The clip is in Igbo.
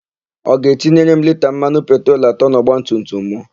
Ọ ga-etinyere m lita mmanụ petrol atọ n'ọgbatumtum mụ?